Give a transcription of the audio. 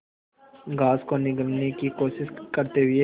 grass को निगलने की कोशिश करते हुए